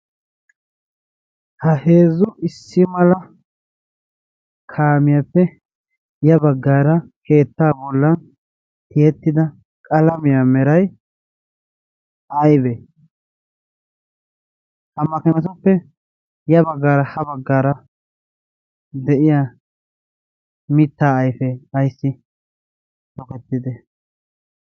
Ha heezzu issi mala kaamiyaappe ya baggaara keetta bollan tihettida qalamiyaa meray aybe hammakamatoppe ya baggaara ha baggaara de'iya mittaa ayfe ayssi tokettide?